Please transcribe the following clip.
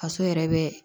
Faso yɛrɛ bɛ